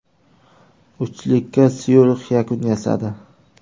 Uchlikka Syurix yakun yasadi.